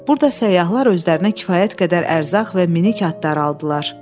Burda səyyahlar özlərinə kifayət qədər ərzaq və minik atları aldılar.